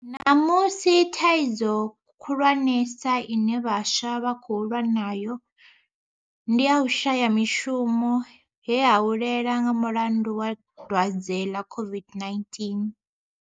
Ṋamusi thaidzo khulwanesa ine vhaswa vha khou lwa nayo ndi ya u shaya mishumo, he ha hulela nga mulandu wa dwadze ḽa COVID-19.